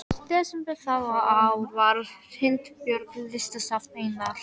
desember það ár var Hnitbjörg, listasafn Einars